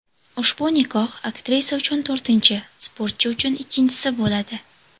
Ushbu nikoh aktrisa uchun to‘rtinchi, sportchi uchun ikkinchisi bo‘ladi.